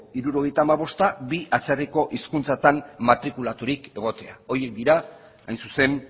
hirurogeita hamabosta bi atzerriko hizkuntzetan matrikulaturik egotea horiek dira hain zuzen